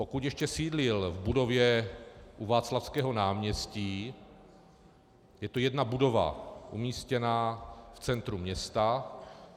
Pokud ještě sídlil v budově u Václavského náměstí, je to jedna budova umístěná v centru města.